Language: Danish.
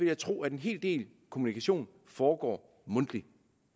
jeg tro at en hel del kommunikation foregår mundtligt